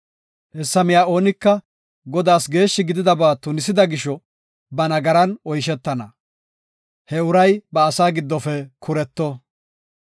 Hessa miya oonika Godaas geeshshi gididaba tunisida gisho ba nagaran oyshetana. He uray ba asaa giddofe kuretto.